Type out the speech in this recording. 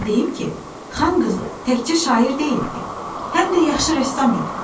Onu da deyim ki, xan qızı təkcə şair deyildi, həm də yaxşı rəssam idi.